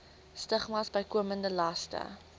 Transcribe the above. stigmas bykomende laste